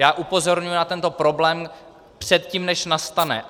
Já upozorňuji na tento problém předtím, než nastane.